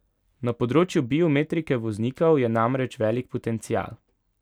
Na področju biometrike voznikov je namreč velik potencial.